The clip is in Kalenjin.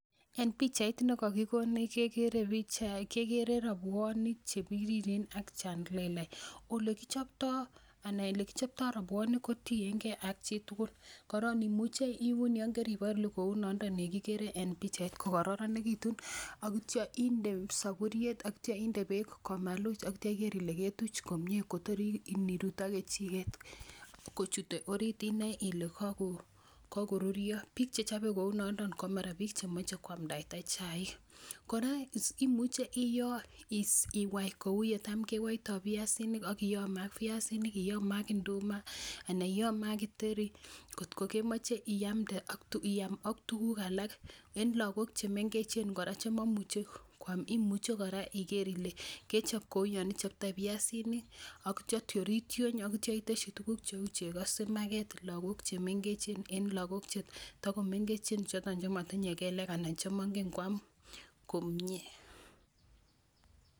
Eng' pichait ne kakikonech kekere rapwaniik che piriren ak che lelachen. Olekichoptoi rapwanik kotien ge ak chi tugul. Koron imuche iun eng' keripalu kounan nda kigere en pichait kokararanitu atia inde sapuriet ati a inde peek komaluch atia iger ile ketuch komye kotori ini rut ak kechiget kochute oriit inae ile kakorurio. Piik che chape kounanda ko mara piik che mache koamdaita chaiik. Kora imuche iyo iwai kou yecham kewaita piasiniik ak keame ak piasinik, keame ak nduma anan keame ak githeri kot ko kemache iam ak tuguuk alak. En Lagok che mengechen kora che maimuchi koam imuchi kora igeer ile kechop kou yan ichoptoi piasinik atia tioritiony atia iteshi tuguuk cheu chego simakeet lagook chemengechen en lagook che mengechen chotok che matinye kelek anan ko che mangen koam komye